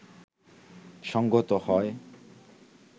সঙ্গত হয়